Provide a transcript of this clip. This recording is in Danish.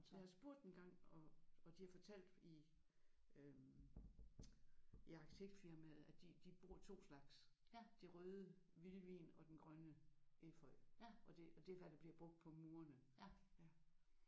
Jeg har spurgt engang og og de har fortalt i øh i arkitektfirmaet at de de bruger 2 slags. Den røde vildvin og den grønne efeu og det det er hvad der bliver brugt på murene